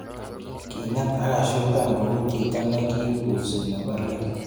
kinget ako koshukan kou chito nekiimbusi ne bo let